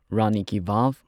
ꯔꯥꯅꯤ ꯀꯤ ꯚꯥꯚ